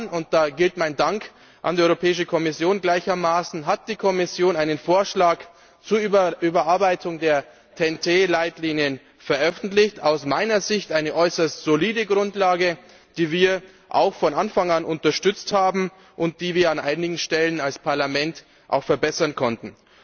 Vor zwei Jahren und da geht mein Dank gleichermaßen an die Kommission hat die Kommission einen Vorschlag zur Überarbeitung der TEN Leitlinien veröffentlicht aus meiner Sicht eine äußerst solide Grundlage, die wir auch von Anfang an unterstützt haben, und die wir an einigen Stellen als Parlament auch verbessern konnten.